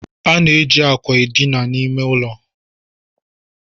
A na-eji akwa dina n'ime ime ụlọ.